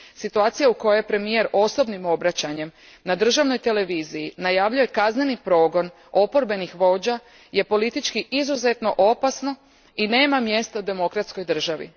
Situacija u kojoj premijer osobnim obraćanjem na državnoj televiziji najavljuje kazneni progon oporbenih vođa je politički izuzetno opasno i nema mjesta u demokratskoj državi.